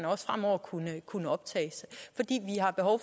også fremover kunne kunne optages